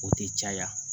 O tɛ caya